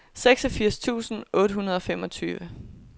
seksogfirs tusind otte hundrede og femogtyve